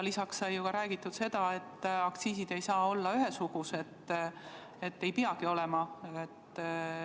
Lisaks sai ju ka räägitud sellest, et aktsiisid ei saa olla ühesugused, ei peagi olema.